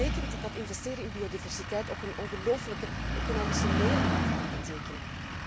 Dat betekent dat investeren in biodiversiteit ook een ongelooflijke economische meerwaarde kan betekenen.